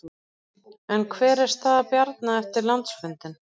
En hver er staða Bjarna eftir landsfundinn?